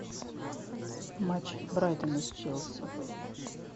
матч брайтона с челси